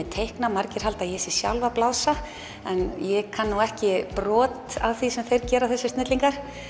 teikna margir halda að ég sé sjálf að blása en ég kann nú ekki brot af því sem þeir gera þessir snillingar